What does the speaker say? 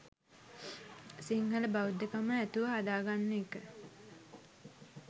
සිංහල බෞද්ධකම ඇතුව හදාගන්න එක.